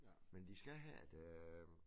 Men de skal have et øh